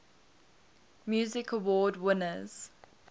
music awards winners